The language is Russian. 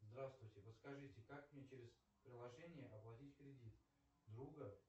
здравствуйте подскажите как мне через приложение оплатить кредит друга